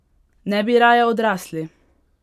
Ne bi raje odrasli?